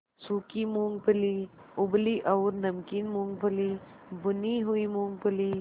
सूखी मूँगफली उबली और नमकीन मूँगफली भुनी हुई मूँगफली